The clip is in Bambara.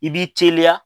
I b'i teliya